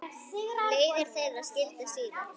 Leiðir þeirra skildi síðar.